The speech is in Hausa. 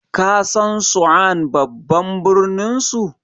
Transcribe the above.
kasan suan babban birninsu